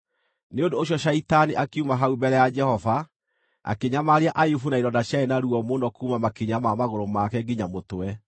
Nĩ ũndũ ũcio Shaitani akiuma hau mbere ya Jehova, akĩnyamaria Ayubu na ironda ciarĩ na ruo mũno kuuma makinya ma magũrũ make nginya mũtwe.